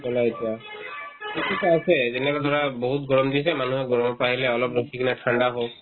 ক'লা এতিয়া এইটোতো আছে যেনেকে ধৰা বহুত গৰম দিছে মানুহে গৰমত পাৰিলে অলপ ৰখিলে ঠাণ্ডা হওক